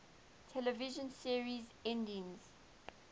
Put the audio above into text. television series endings